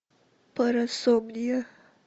парасомния